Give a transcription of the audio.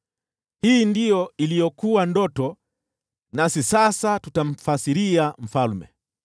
“Hii ndiyo iliyokuwa ndoto, nasi sasa tutamfasiria mfalme.